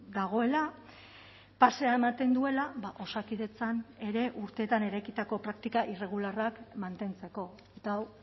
dagoela pasea ematen duela osakidetzan ere urteetan eraikitako praktika irregularrak mantentzeko eta hau